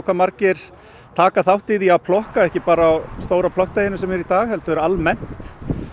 margir taka þátt í því að plokka ekki bara á stóra plokkdeginum sem er í dag heldur almennt